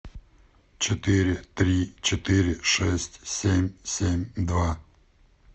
четыре три четыре шесть семь семь два